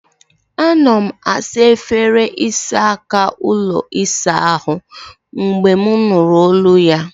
Anọ m na-asa efere ịsa aka ụlọ ịsa ahụ mgbe m nụrụ olu ya.